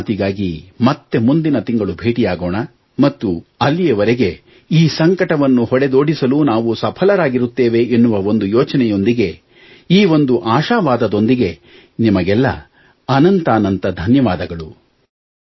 ಮನದ ಮಾತಿಗಾಗಿ ಮತ್ತೆ ಮುಂದಿನ ತಿಂಗಳು ಭೇಟಿಯಾಗೋಣ ಮತ್ತು ಅಲ್ಲಿಯವರೆಗೆ ಈ ಸಂಕಟವನ್ನು ಹೊಡೆದೋಡಿಸಲು ನಾವು ಸಫಲರಾಗಿರುತ್ತೇವೆ ಎನ್ನುವ ಒಂದು ಯೋಚನೆಯೊಂದಿಗೆ ಈ ಒಂದು ಆಶಾವಾದದೊಂದಿಗೆ ನಿಮಗೆಲ್ಲಾ ಅನಂತಾನಂತ ಧನ್ಯವಾದಗಳು